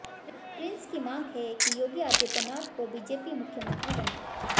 Prince की मांग है कि योगी आदित्यनाथ को बीजेपी मुख्यमंत्री बनाए